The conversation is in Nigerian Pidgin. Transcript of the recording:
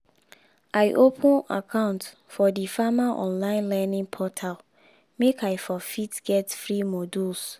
i open account for di farmer online learning portal make i for fit get free modules